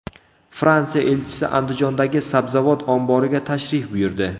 Fransiya elchisi Andijondagi sabzavot omboriga tashrif buyurdi.